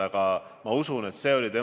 Aga mu küsimus on selline.